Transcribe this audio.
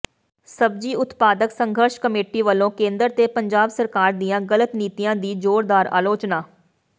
ਸਬਜ਼ੀ ਉਤਪਾਦਕ ਸੰਘਰਸ਼ ਕਮੇਟੀ ਵਲੋਂ ਕੇਂਦਰ ਤੇ ਪੰਜਾਬ ਸਰਕਾਰ ਦੀਆਂ ਗਲਤ ਨੀਤੀਆਂ ਦੀ ਜ਼ੋਰਦਾਰ ਆਲੋਚਨਾ